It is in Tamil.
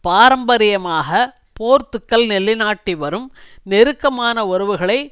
பாரம்பரியமாக போர்த்துக்கல் நிலைநாட்டி வரும் நெருக்கமான உறவுகளை